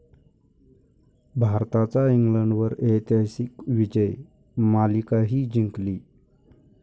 भारताचा इंग्लंडवर ऐतिहासिक विजय, मालिकाही जिंकली